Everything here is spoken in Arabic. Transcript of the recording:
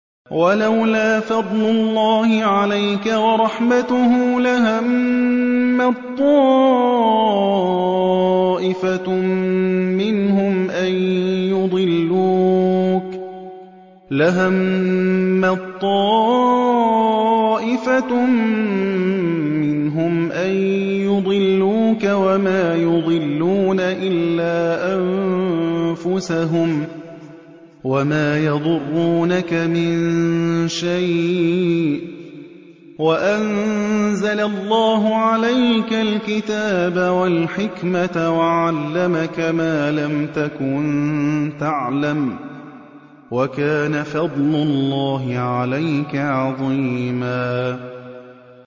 وَلَوْلَا فَضْلُ اللَّهِ عَلَيْكَ وَرَحْمَتُهُ لَهَمَّت طَّائِفَةٌ مِّنْهُمْ أَن يُضِلُّوكَ وَمَا يُضِلُّونَ إِلَّا أَنفُسَهُمْ ۖ وَمَا يَضُرُّونَكَ مِن شَيْءٍ ۚ وَأَنزَلَ اللَّهُ عَلَيْكَ الْكِتَابَ وَالْحِكْمَةَ وَعَلَّمَكَ مَا لَمْ تَكُن تَعْلَمُ ۚ وَكَانَ فَضْلُ اللَّهِ عَلَيْكَ عَظِيمًا